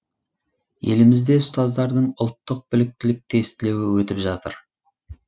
елімізде ұстаздардың ұлттық біліктілік тестілеуі өтіп жатыр